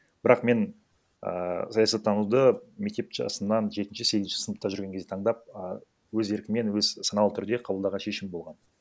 бірақ мен ааа саясаттануды мектеп жасынан жетінші сегізінші сыныпта жүрген кезде таңдап а өз еркіммен өз саналы түрде қабылдаған шешім болған